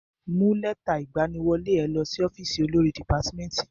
Mú lẹ́tà ìgbaniwọlé ẹ lọ sí ọ́fìsì olórí dìpátmẹ́tì.